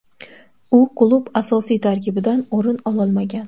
U klub asosiy tarkibidan o‘rin ololmagan.